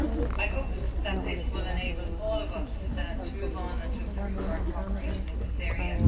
I hope that this will enable all of us to move on and improve our co operation in this area.